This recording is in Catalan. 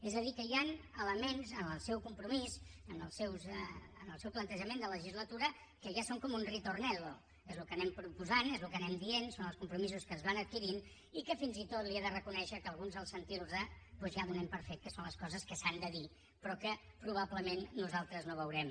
és a dir que hi han elements en el seu compromís en el seu plantejament de legislatura que ja són com un ritornello és el que anem proposant és el que anem dient són els compromisos que es van adquirint i que fins i tot li he de reconèixer que alguns al sentirlos doncs ja donem per fet que són les coses que s’han de dir però que probablement nosaltres no veurem